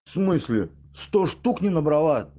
в смысле сто штук не набрала